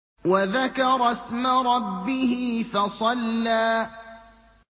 وَذَكَرَ اسْمَ رَبِّهِ فَصَلَّىٰ